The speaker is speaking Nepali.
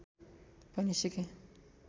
पनि सिकेँ